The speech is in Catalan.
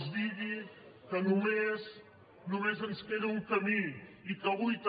els digui que només ens queda un camí i que avui també